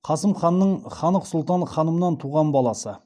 қасым ханның ханық сұлтан ханымнан туған баласы